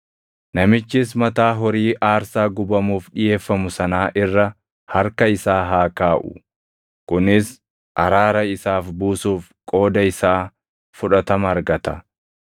Namichis mataa horii aarsaa gubamuuf dhiʼeeffamu sanaa irra harka isaa haa kaaʼu; kunis araara isaaf buusuuf qooda isaa fudhatama argata.